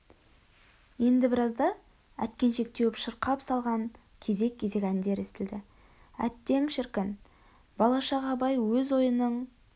енді біразда әткеншек теуіп шырқап салған кезек-кезек өндер естілді әттең шіркін бала шақ абай өз ойының